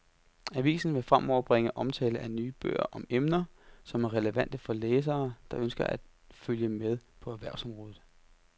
Avisen vil fremover bringe omtale af nye bøger om emner, som er relevante for læsere, der ønsker at følge med på erhvervsområdet.